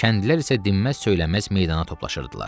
Kəndlilər isə dinməz-söyləməz meydana toplaşırdılar.